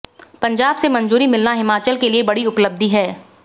पंजाब से मंजूरी मिलना हिमाचल के लिए बड़ी उपलब्धि है